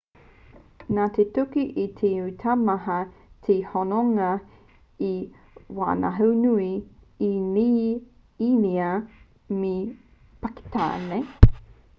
nā te tuki i tino taumaha te hononga i waenganui i īnia me pakitāne